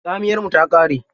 Tsamiyar mu ta ƙare.